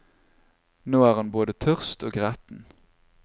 Nå er han både tørst og gretten.